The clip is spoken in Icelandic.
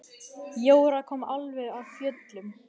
Jóra kom alveg af fjöllum.